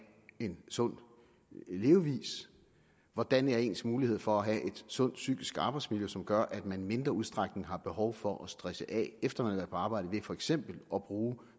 en sund levevis hvordan ens muligheder er for have et sundt psykisk arbejdsmiljø som gør at man i mindre udstrækning har behov for at stresse af efter at på arbejde ved for eksempel at bruge